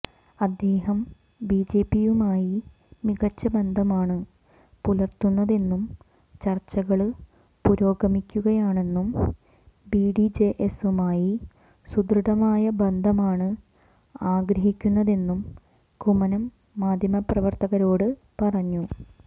അദ്ദേഹം ബിജെപിയുമായി മികച്ച ബന്ധമാണ് പുലര്ത്തുന്നതെന്നും ചര്ച്ചകള് പുരോഗമിക്കുകയാണെന്നും ബിഡിജെഎസുമായി സുദൃഡമായ ബന്ധമാണ് ആഗ്രഹിക്കുന്നതെന്നും കുമ്മനം മാധ്യമപ്രവര്ത്തകരോട് പറഞ്ഞു